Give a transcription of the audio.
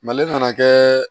Mali nana kɛ